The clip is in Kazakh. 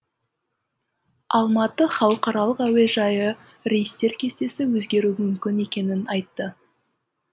алматы халықаралық әуежайы рейстер кестесі өзгеруі мүмкін екенін айтты